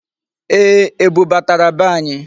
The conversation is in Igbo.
Ee, ebu batara be anyị.